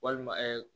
Walima